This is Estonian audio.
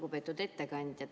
Lugupeetud ettekandja!